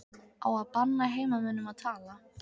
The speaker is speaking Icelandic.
Á að banna heimamönnum að tala?